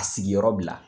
A sigiyɔrɔ bila